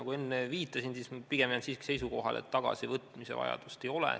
Nagu enne viitasin, pigem ma jään siiski seisukohale, et tagasivõtmise vajadust ei ole.